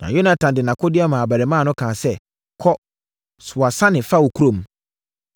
Na Yonatan de nʼakodeɛ maa abarimaa no kaa sɛ, “Kɔ, soa sane fa kɔ kurom.”